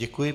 Děkuji.